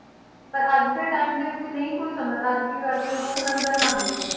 ਪਰ ਅੱਜ ਦੇ time ਦੇ ਵਿੱਚ ਨਹੀਂ ਕੋਈ ਸਮਝਦਾ, ਅੱਜ ਕੀ ਕਰਦੇ ਆ ਲੋਕ ਲੰਗਰ ਲਾਉਂਦੇ ਨੇ